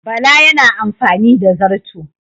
Bala yana amfani da zarto